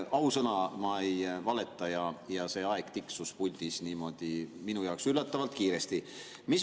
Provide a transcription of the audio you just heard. Ausõna, ma ei valeta, see aeg tiksus puldis niimoodi minu jaoks üllatavalt kiiresti.